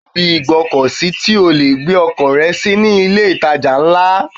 Wàá rí ibi ìgbọ́kọ̀ sí tí o lè gbé ọkọ̀ rẹ sí ní ilé ìtajà ńlá.